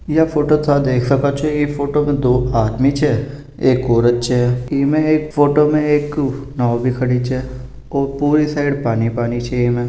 या फोटो था देख सका छे इ फोटो में दो आदमी छे एक औरत छे इमे एक फोटो मे एक नाव भी खड़ी छे और पूरी साइड पानी-पानी छे इमे।